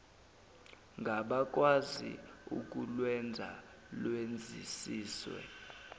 ngabakwazi ukulwenza lwenzisiswe